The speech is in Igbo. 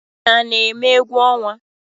Unu a na-eme egwu ọnwa?